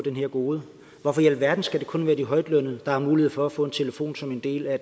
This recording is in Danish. det her gode hvorfor i alverden skal det kun være de højtlønnede der har mulighed for at få en telefon som en del af